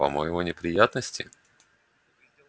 по-моему неприятности